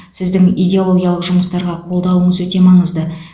сіздің идеологиялық жұмыстарға қолдауыңыз өте маңызды